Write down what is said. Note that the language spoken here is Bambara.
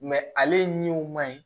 ale ɲɛw man ɲi